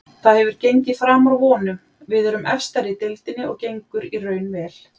Það hefur gengið framar vonum, við erum efstar í deildinni og gengur í raun vel.